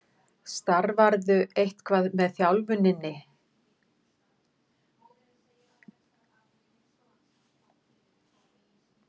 Starfarðu eitthvað með þjálfuninni?